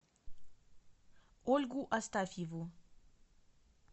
ольгу астафьеву